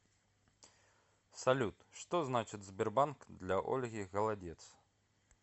салют что значит сбербанк для ольги голодец